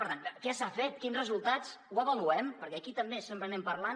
per tant què s’ha fet quins resultats ho avaluem perquè aquí també sempre anem parlant